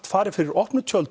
farið fyrir opnum tjöldum